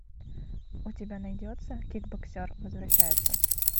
у тебя найдется кикбоксер возвращается